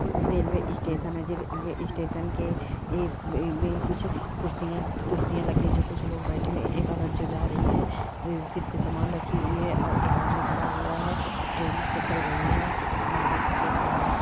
railway station है जे ए स्टेशन के में-में कुछ कुर्सियाँ-कुर्सियाँ लगी हुई जो कुछ लोग बैठे हुए है एक औरत जो जा रही है व-वो सिर पे समान रखी हुई है और एक आदमी खड़ा हुआ है ट्रेन प-चल रही है बादल सफेद काले--